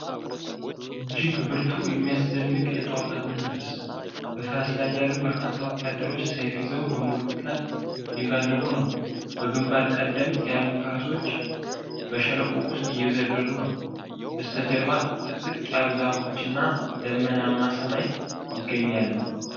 እጅግ ብርቱ፣ የሚያስደንቅ የጦርነት መንፈስ! በፈረስ ላይ ያሉ በርካታ ወታደሮች ሰይፍ ይዘው በሙሉ ፍጥነት እየጋለቡ ነው። በግምባር ቀደምት ያሉት ፈረሶች በሸለቆ ውስጥ እየዘለሉ ነው። በስተጀርባ ጥቅጥቅ ያሉ ዛፎችና ደመናማ ሰማይ ይገኛሉ።